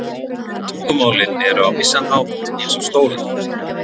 Tungumálin eru á vissan hátt eins og stólar.